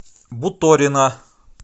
буторина